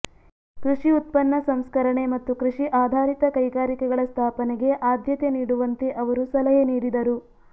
ಕೃಷಿ ಉತ್ಪನ್ನ ಸಂಸ್ಕರಣೆ ಮತ್ತು ಕೃಷಿ ಆಧಾರಿತ ಕೈಗಾರಿಕೆಗಳ ಸ್ಥಾಪನೆಗೆ ಆದ್ಯತೆ ನೀಡುವಂತೆ ಅವರು ಸಲಹೆ ನೀಡಿದರು